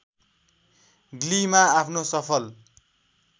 ग्लीमा आफ्नो सफल